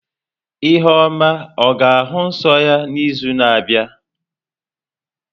Ihuoma ọ ga-ahụ nsọ ya n'izu na-abịa?